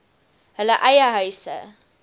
hulle eie huise